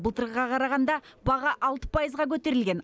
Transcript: былтырғыға қарағанда баға алты пайызға көтерілген